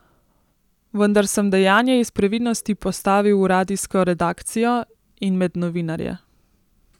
Vendar sem dejanje iz previdnosti postavil v radijsko redakcijo in med novinarje.